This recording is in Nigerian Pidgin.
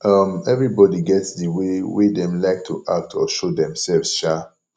um everybody get the way wey dem like to act or show themselves um